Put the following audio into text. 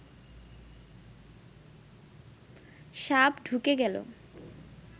সাপ ঢুকে গেল